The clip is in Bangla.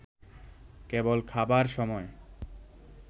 কেবল খাবার সময়